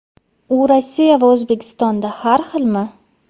U Rossiya va O‘zbekistonda har xilmi?